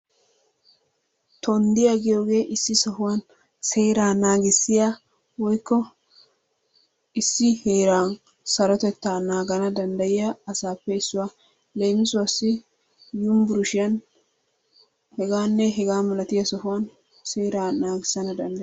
Tonddiyaa giyogee issi sohuwan seeraa naagissiya woykko issi heeran sarotettaa nangganna danddayiyaa asaappe issuwa. Leemissuwaassi Yunbburshshiyan hegaanne hegaa malatiya sohuwan seeraa naggissana danddayoosona.